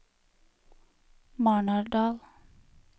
Marnardal